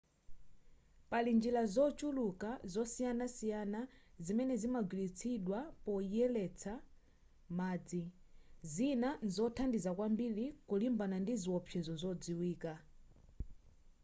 pali njira zochuluka zosiyanasiyana zimene zimagwiritsidwa poyeretsera madzi zina nzothandiza kwambiri kulimbana ndi ziwopsezo zodziwika